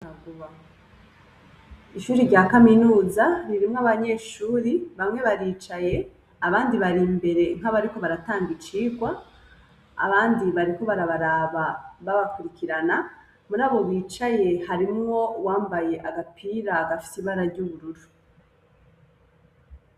Ishuri rya kaminuza ririmwo abanyeshuri bamwe baricaye abandi bari imbere nkabariko baratanga icirwa abandi bariko barabaraba baba kwirikirana murabo bicaye harimwo uwambaye agapira gafise ibara ry'ubururu.